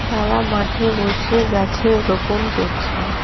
তারা মাঠে বসে গাছের রোপণ করছে।